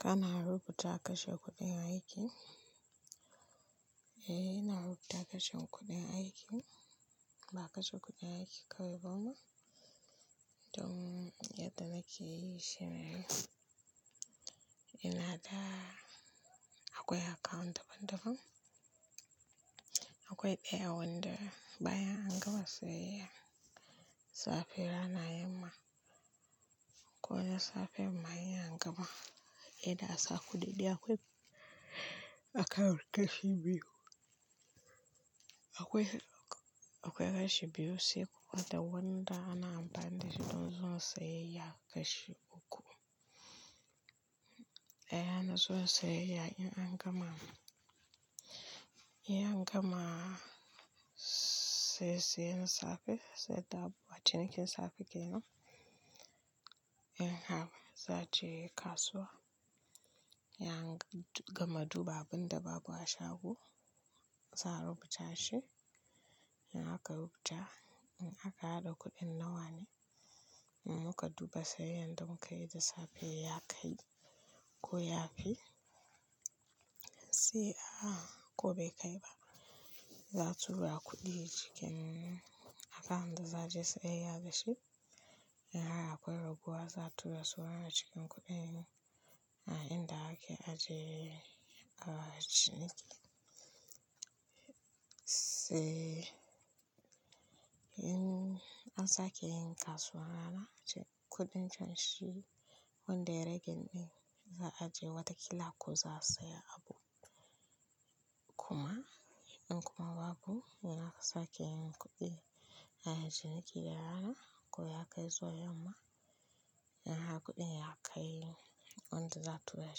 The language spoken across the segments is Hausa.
Kana rubuta kashe kuɗi a aiki, eh ina rubuta kashe kuɗi a aiki, ina kashe kuɗin aiki kawai ba ma don yadda nake yi shi ne ina da-- akwai account daban-daban. Akwai ɗaya wanda bayan an gama sayayya, safe, rana, yamma, ko na safe ma in an gama, idan ansa kuɗi dai akwai akawu kashi biyu. Akwai kashi biyu sai kuma da wanda ana amfani da shi don zuwa sayayya kashi uku. Daya na zuwa sayayya ne in an gama, in an gama saye-sayen safe, saida abu, a cinikin safe kenan. In haka za je kasuwa, in an gama duba abin da babu a shago, za a rubuta shi. In aka rubuta, in aka haɗa kuɗin nawa ne, muka duba sayayyar da muka yi da safe ya kai ko ya fi. Sai a-- ko bai kai ba, za'a tura kuɗi cikin account da za je sayayya dashi. In har akwai raguwa za'a tura su wane cikin kuɗin. A inda ake ajiye cinikin. Sai in an sake yin kasuwan rana, kuɗin can shi wanda ya rage ɗin za a je wata kila ko za a saya abu. Kuma in ko kuma babu, in an sake yin kuɗi a cinikin da rana ko ya kai zuwa yamma. In har kuɗin ya kai wanda za'a tura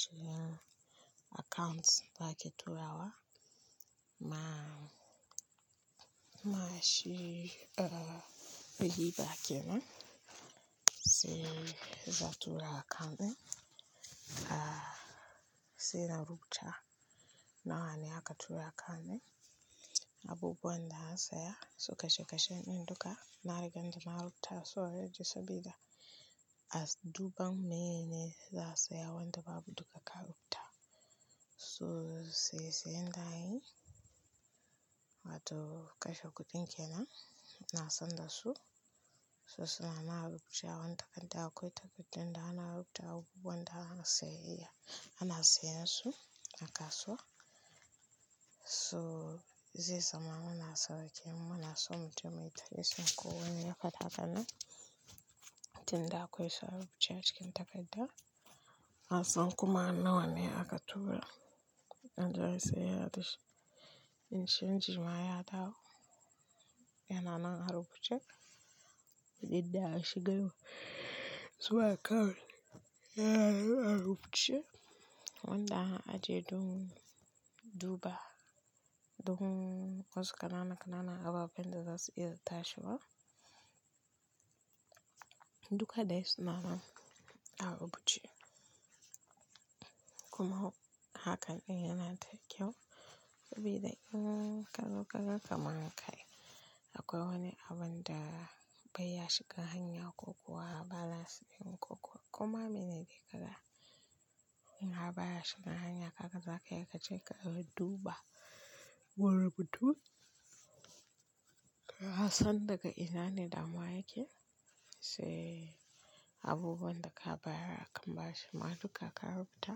cikin account da ake tura wa. Amma shi, a diba kenan, sai za'a tura akawun ɗin. Sai na rubuta nawa ne aka tura akawun ɗin. Abubuwan da an saya, su kashe kashe ɗin duka na riga ɗin narubuta so a ajiye sabida as duban meyene za a saya wanda babu duka ka rubuta. So sai saye sayen da an yi, wato kashe kuɗin kenan, na san da su. So suna nan a rubuce a wani takarda, akwai takardar da ana rubuta abubuwan da ana sayayya, ana sayan su a kasuwa. So zai zama muna sauƙe muna so mutum ya yi tafiya so ko wani ya fada haka nan, tinda akwai sa rubuce a cikin takarda. Na san kuma nawa ne aka tura, in zai saya da shi. In canji ma ya dawo, yana nan a rubuce. Indai a shiga yau, su wa akawu, ya na a rubuce. Wanda an ajiye don duba don wasu ƙanana-ƙanana ababen da za su yi iya tashi wa. Duka dai suna nan a rubuce. Kuma hakan ɗin yana da kyau, sabida in ka zo ka ga kamar kai akwai wani abun da bai ya shiga hanya ko kuwa balance ɗin ko kuwa kuma mene ne ke kaga. In ba ya shiga hanya haka za ka iya ka je ka duba wurin rubutu. Ka san daga ina ne damuwa yake, sai abubuwan da ka bayar akan ba shi ma duka ka rubuta.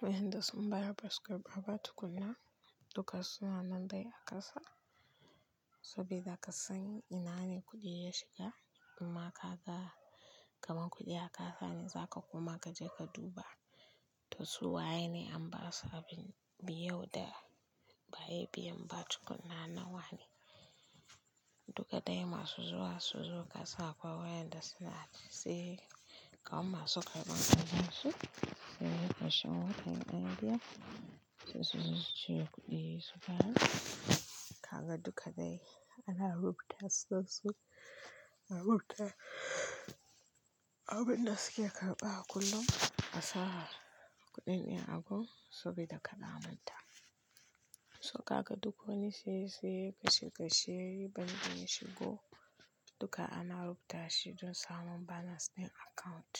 Wayanda sun bayar basu karɓa ba tukuna, duka suna nan dai a ƙasa. Sabida ka san ina ne kuɗi ya shiga, amma ka ga kamar kuɗi ya ƙasa ne za ka koma ka je ka duba. To su waye ne an ba su a biyu da bayi biyan ba tukuna nawa ne. Duka dai masu zuwa su zo ƙasa kuwa wayanda sunai sai, kaman masu karɓan su suyi ƙarshen watan nan biyar. Sai su zo su cire kuɗi su fara. Kaga duka dai ana rubuta su, su rubuta abin da suke karɓa kullum a sa'a kuɗin ɗin a gun sabida ka da amanta. So haka duk wani siye siye, kashe kashe yayi banɗin shigo, duka ana rubuta shi don samun balance ɗin account.